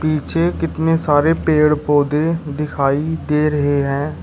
पीछे कितने सारे पेड़ पौधे दिखाई दे रहे हैं।